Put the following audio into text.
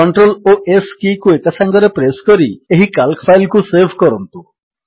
CTRL ଓ S କୀକୁ ଏକାସାଙ୍ଗରେ ପ୍ରେସ୍ କରି ଏହି କାଲ୍କ ଫାଇଲ୍ କୁ ସେଭ୍ କରନ୍ତୁ